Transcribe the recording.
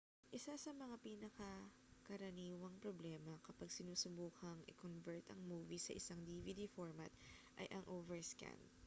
isa sa mga pinakakaraniwang problema kapag sinusubukang i-convert ang movie sa isang dvd format ay ang overscan